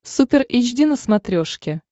супер эйч ди на смотрешке